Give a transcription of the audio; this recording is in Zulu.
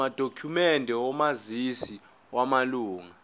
amadokhumende omazisi wamalunga